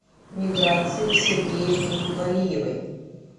миграции сергеевне валиевой